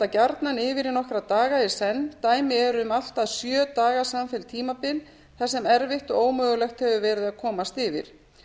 gjarnan yfir í nokkra daga í senn dæmi eru um allt að sjö daga samfellt tímabil þar sem erfitt og ómögulegt hefur verið að komast yfir